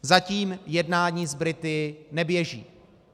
Zatím jednání s Brity neběží.